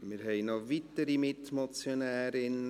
Wir haben noch weitere Mitmotionärinnen: